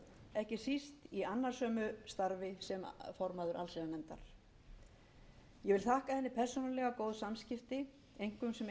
ekki síst í annasömu starfi sem formaður allsherjarnefndar ég vil þakka henni persónulega góð samskipti einkum sem eins af